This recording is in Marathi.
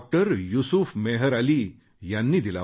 युसूफ मेहर अली यांनी दिला होता